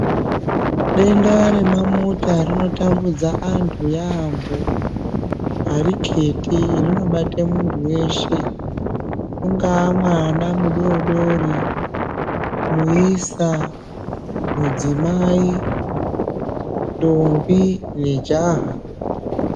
Denda remamota rinotambudza antu yaambo. Hariketi rinobate muntu veshe ungaa mwana mudodori, muisa, mudzimai, ndombi nejaha.